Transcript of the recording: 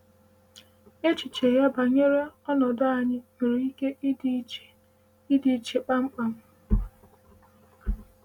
Echiche ya banyere ọnọdụ anyị nwere ike ịdị iche ịdị iche kpamkpam.